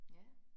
Ja